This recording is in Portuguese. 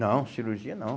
Não, cirurgia não.